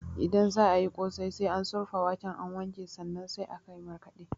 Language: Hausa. Idan za ayi ƙosai, sai an surfa waken an wanke sannan sai an markaɗa